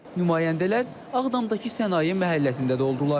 Nümayəndələr Ağdamdakı Sənaye məhəlləsində də oldular.